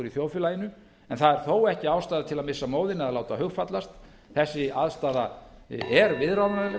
í þjóðfélaginu en það er þó ekki ástæða til að missa móðinn eða láta hugfallast þessi aðstaða er viðráðanleg